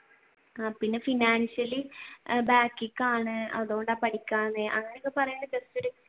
ആഹ് പിന്നെ financially back ലേക്കാണ് അതുകൊണ്ടാ പഠിക്കാഞ്ഞേ അങ്ങനെ